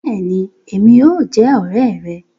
Béèni, Èmí óò jẹ òré rè